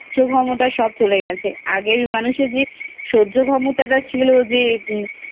ক্ষমতা সব চলে গেছে আগের মানুষের যে সহ্য ক্ষমতা ছিল যে